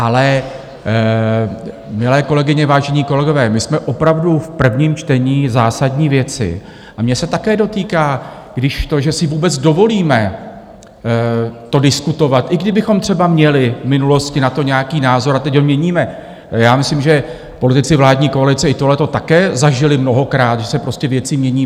Ale milé kolegyně, vážení kolegové, my jsme opravdu v prvním čtení zásadní věci a mě se také dotýká, když to, že si vůbec dovolíme to diskutovat, i kdybychom třeba měli v minulosti na to nějaký názor a teď ho měníme - já myslím, že politici vládní koalice i tohleto také zažili mnohokrát, že se prostě věci mění.